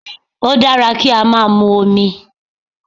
O dára kí á máa mu omi.